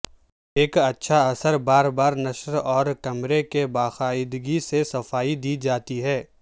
ایک اچھا اثر بار بار نشر اور کمرے کی باقاعدگی سے صفائی دی جاتی ہے